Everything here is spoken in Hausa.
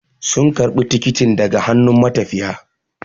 Sun karbi tikitin daga hannun matafiya